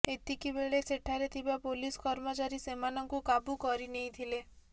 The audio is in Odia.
ଏତିକିବେଳେ ସେଠାରେ ଥିବା ପୋଲିସ କର୍ମଚାରୀ ସେମାନଙ୍କୁ କାବୁ କରିନେଇଥିଲେ